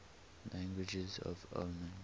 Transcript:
languages of oman